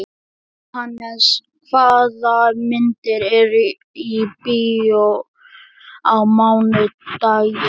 Jóhannes, hvaða myndir eru í bíó á mánudaginn?